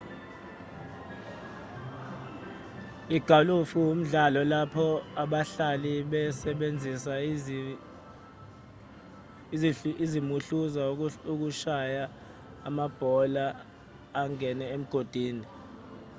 igalufu umdlalo lapho abahlali besebenzisa izimuhluza ukushaya amabhola angene emigodini